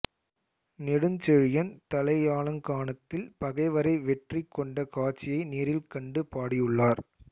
நெடுஞ்செழியன் தலையாலங்கானத்தில் பகைவரை வெற்றி கொண்ட காட்சியை நேரில் கண்டு பாடியுள்ளர்